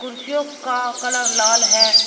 कुर्सियों का कलर लाल है।